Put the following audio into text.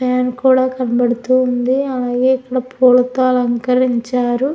Fan కూడా కనబడుతుంది పూలతో అలంకరించారు.